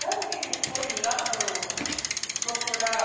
Sabe que ele foi lá no... procurar